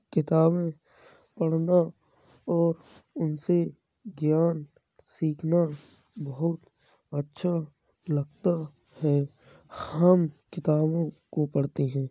किताबे पढ़ना और उनसे ज्ञान सीखना बहुत अच्छा लगता हैहम किताबों को पढ़ते हैं।